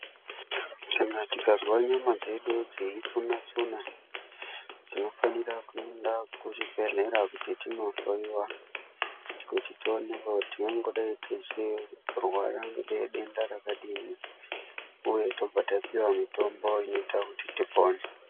Kana tikazwa nyama dzedu dzeitsuna -tsuna, tinofanira kuenda kuzvibhedhlera kuti tindohloiwa, kuti tionekwe kuti tingadai tichirwara ngedenda rakadini ,uye tobva tapiwa mitombo inoita kuti denda ripore.